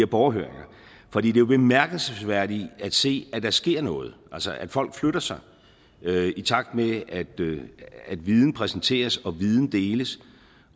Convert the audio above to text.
borgerhøringer for det er jo bemærkelsesværdigt at se at der sker noget altså at folk flytter sig i takt med at viden præsenteres og viden deles